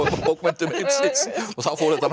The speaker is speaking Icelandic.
bókmenntum heimsins og þá fór þetta